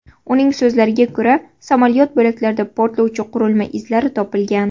Uning so‘zlariga ko‘ra, samolyot bo‘laklarida portlovchi qurilma izlari topilgan.